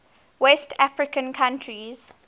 west african countries